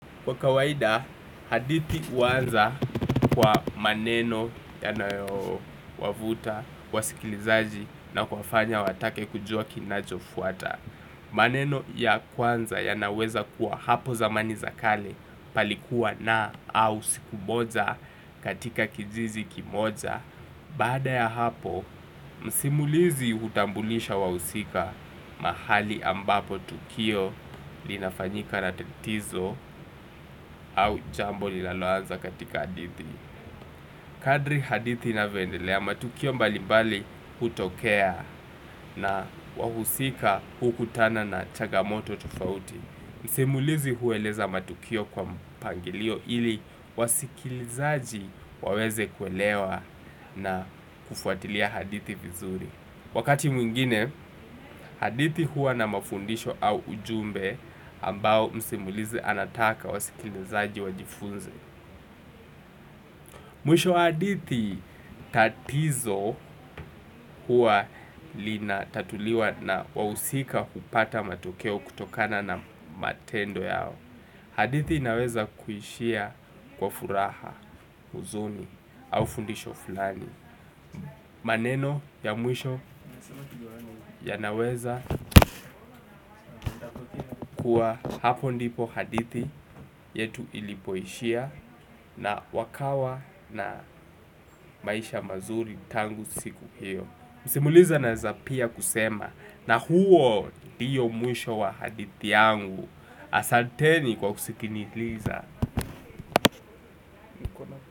Kwa kawaida, hadithi huanza kwa maneno yanayo wavuta, wasikilizaji na kuwafanya watake kujua kinachofuata. Maneno ya kwanza yanaweza kuwa hapo zamani za kale palikuwa na au siku moja katika kijiji kimoja. Baada ya hapo, msimulizi hutambulisha wahusika mahali ambapo tukio linafanyika na tatizo au jambo linaloanza katika hadithi kadri hadithi inavyoendelea matukio mbali mbali hutokea na wahusika hukutana na changamoto tofauti. Msimulizi hueleza matukio kwa mpangilio ili wasikilizaji waweze kuelewa na kufuatilia hadithi vizuri wakati mwingine, hadithi huwa na mafundisho au ujumbe ambao msimulizi anataka wasikilizaji wajifunze mwisho wa hadithi tatizo huwa linatatuliwa na wahusika kupata matukeo kutokana na matendo yao hadithi inaweza kuishia kwa furaha, huzuni au fundisho fulani. Maneno ya mwisho yanaweza huwa hapo ndipo hadithi yetu ilipoishia na wakawa na maisha mazuri tangu siku hiyo msimulizi anaweza pia kusema na huo ndio mwisho wa hadithi yangu. Asanteni kwa kunisikiliza.